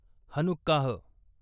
Hanukkah